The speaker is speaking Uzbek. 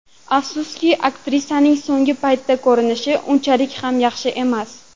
Afsuski, aktrisaning so‘nggi paytda ko‘rinishi unchalik ham yaxshi emas.